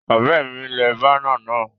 Òré mi le banner náà